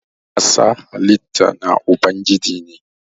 ƙasa halitta na Ubangiji ne.